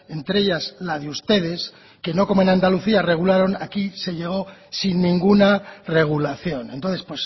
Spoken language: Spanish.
entre ellas la de ustedes que no como en andalucía regularon aquí se llegó sin ninguna regulación entonces